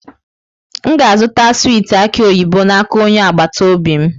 M ga-azụta swiiti aki oyibo n'aka onye agbata obi m.